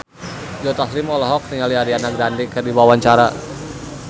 Joe Taslim olohok ningali Ariana Grande keur diwawancara